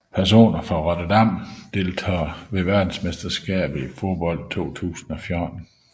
Personer fra Rotterdam Deltagere ved verdensmesterskabet i fodbold 2014